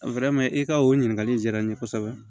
i ka o ɲininkali diyara n ye kosɛbɛ